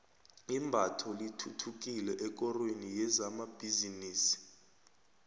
imbatho lithuthukile ekorweni yezamabhizinisi